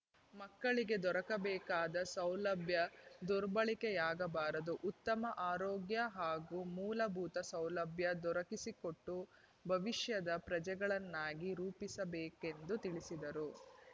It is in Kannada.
ಮಕ್ಕಳಿಗೆ ದೊರಕಬೇಕಾದ ಸೌಲಭ್ಯ ದುರ್ಬಳಕೆಯಾಗಬಾರದು ಉತ್ತಮ ಆರೋಗ್ಯ ಹಾಗೂ ಮೂಲಭೂತ ಸೌಲಭ್ಯ ದೊರಕಿಸಿಕೊಟ್ಟು ಭವಿಷ್ಯದ ಪ್ರಜೆಗಳನ್ನಾಗಿ ರೂಪಿಸಬೇಕೆಂದು ತಿಳಿಸಿದರು